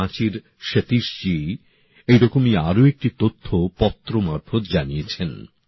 আমায় রাঁচির সতীশ জী এরকমই আরো একটি তথ্য পত্র মারফত জানিয়েছেন